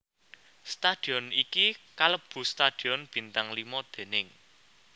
Stadion iki kalebu stadion bintang lima déning